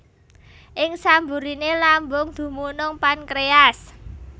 Ing samburiné lambung dumunung pankréas